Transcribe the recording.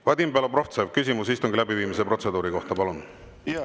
Vadim Belobrovtsev, küsimus istungi läbiviimise protseduuri kohta, palun!